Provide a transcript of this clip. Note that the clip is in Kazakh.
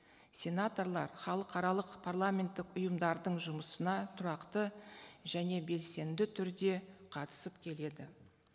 сенаторлар халықаралық парламенттік ұйымдардың жұмысына тұрақты және белсенді түрде қатысып келеді